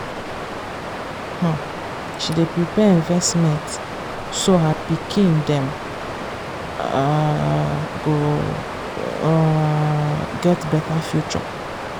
um she dey prepare investment so her pikin dem um go um get better future.